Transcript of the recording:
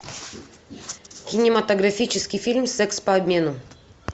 кинематографический фильм секс по обмену